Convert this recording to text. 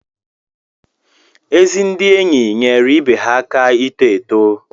Ezi ndị enyi nyeere ibe ha aka ito eto.